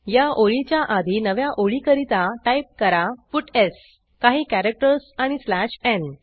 या ओळीच्या आधी नव्या ओळीकरता टाईप करा पट्स काही कॅरॅक्टर्स आणि स्लॅश न्